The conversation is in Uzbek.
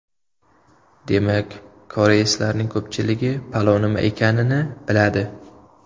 Demak, koreyslarning ko‘pchiligi palov nima ekanini biladi.